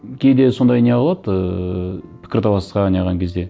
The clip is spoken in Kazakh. кейде сондай не қылады ыыы пікірталасқа не қылған кезде